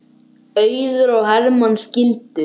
Auður og Hermann skildu.